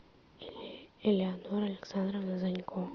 элеонора александровна занько